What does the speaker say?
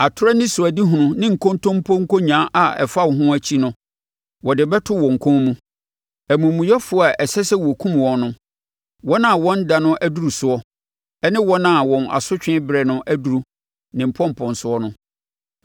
Atorɔ anisoadehunu ne nkontompo nkonyaa a ɛfa wo ho akyi no wɔde bɛto wɔn kɔn mu amumuyɛfoɔ a ɛsɛ sɛ wɔkum wɔn no wɔn a wɔn ɛda no aduru soɔ, ne wɔn a wɔn asotwe berɛ no aduru ne mponponsoɔ no.